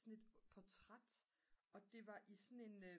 sådan et portræt og det var i sådan en